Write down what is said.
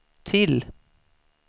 till